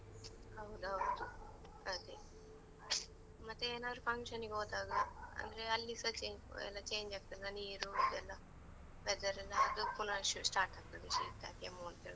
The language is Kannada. ಹೌದೌದು ಅದೆ, ಮತ್ತೆ ಏನದ್ರು function ಗೆ ಹೋದಾಗ, ಅಂದ್ರೆ ಅಲ್ಲಿ ಸ ಚೇ ಆ ಎಲ್ಲ change ಆಗ್ತದಲ್ಲ ನೀರು ಇದ್ ಎಲ್ಲ, weather ಲ್ಲ ಅದು ಪುನ ಶು start ಆಗ್ತದೆ, ಶೀತ ಕೆಮ್ಮು ಅಂತ್ಹೇಳ್ಕೊಂಡು.